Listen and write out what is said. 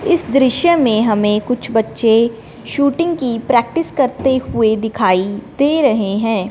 इस दृश्य में हमें कुछ बच्चे शूटिंग की प्रैक्टिस करते हुए दिखाई दे रहे है।